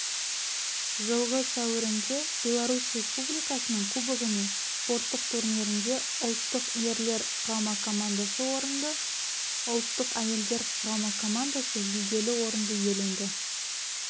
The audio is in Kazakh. жылғы сәуірінде беларусь республикасының кубогіне спорттық турнирінде ұлттық ерлер құрама командасы орынды ұлттық әйелдер құрама командасы жүлделі орынды иеленді